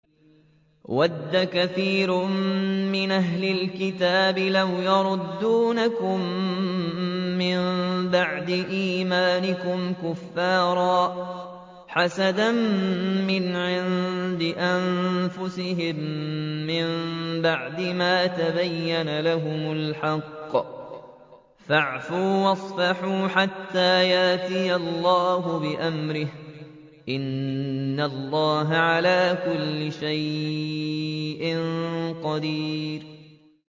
وَدَّ كَثِيرٌ مِّنْ أَهْلِ الْكِتَابِ لَوْ يَرُدُّونَكُم مِّن بَعْدِ إِيمَانِكُمْ كُفَّارًا حَسَدًا مِّنْ عِندِ أَنفُسِهِم مِّن بَعْدِ مَا تَبَيَّنَ لَهُمُ الْحَقُّ ۖ فَاعْفُوا وَاصْفَحُوا حَتَّىٰ يَأْتِيَ اللَّهُ بِأَمْرِهِ ۗ إِنَّ اللَّهَ عَلَىٰ كُلِّ شَيْءٍ قَدِيرٌ